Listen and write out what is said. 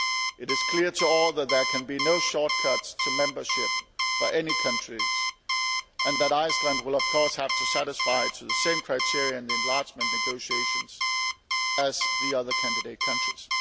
It is clear to all that there can be no shortcuts to membership for any countries and that Iceland will, of course, have to satisfy the same criteria in the enlargement negotiations as the other candidate countries.